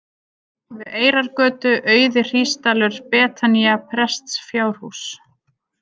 Við Eyrargötu, Auði-Hrísdalur, Betanía, Prestsfjárhús